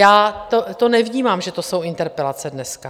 Já to nevnímám, že to jsou interpelace dneska.